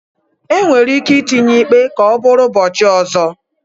Enwere ike itinye ikpe ka ọ bụrụ ụbọchị ọzọ